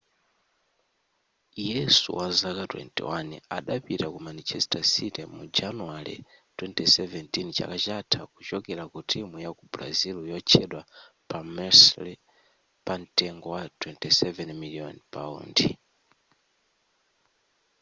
yesu wazaka 21 adapita ku manchester city mu januwale 2017 chaka chatha kuchokera ku timu yaku brazil yotchedwa palmeiras pamtengo wa 27 miliyoni paundi